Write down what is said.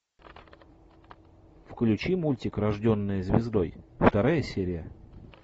включи мультик рожденная звездой вторая серия